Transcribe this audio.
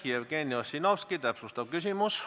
Jevgeni Ossinovski, täpsustav küsimus.